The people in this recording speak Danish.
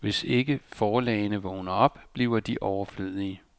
Hvis ikke forlagene vågner op, bliver de overflødige.